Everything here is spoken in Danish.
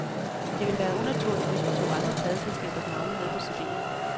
Det ville være unaturligt, hvis vi tog andre pladeselskabers navne med på cd'en.